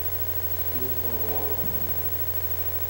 искусство обмана